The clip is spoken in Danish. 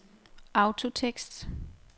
autotekst